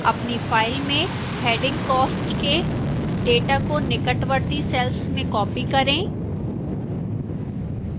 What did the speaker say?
अपनी file में heading cost के data को निकटवर्ती cells में copy करें